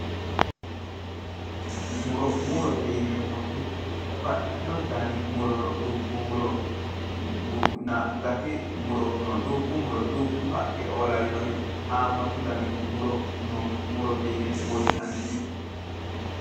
Muro. murote yineemmoti baxxitino danu muro no. dubbu muronna gati muro no. dubbu muro dubbu haqqeoo lawinori haammatu dani muro no. murote yine woshshinannite.